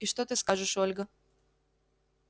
и что ты скажешь ольга